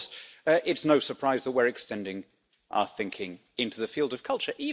And of course, it's no surprise that we're extending our thinking into the field of culture.